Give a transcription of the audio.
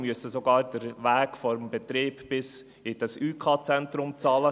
Wir müssen sogar den Weg vom Betrieb bis zum ÜK-Zentrum bezahlen.